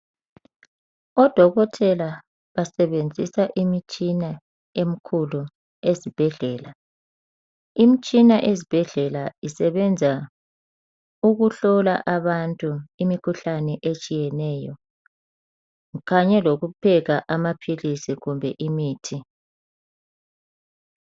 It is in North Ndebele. Odokotela basebenzisa imitshina emikhulu esibhedlela. Imtshina ezibhedlela isebenza ukuhlola abantu imikhuhlane etshiyeneyo kanye lokupheka amaphilisi kumbe imithi.